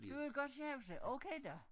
Du ville godt sjawsa okay da